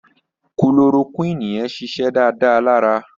Kulorokúìnì yẹn ṣiṣẹ́ dáadáa lára